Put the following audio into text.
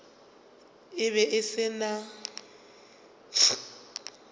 e be e se na